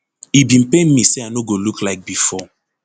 e bin pain me say i no go look like bifor